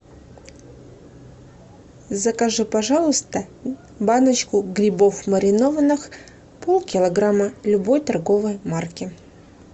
закажи пожалуйста баночку грибов маринованных пол килограмма любой торговой марки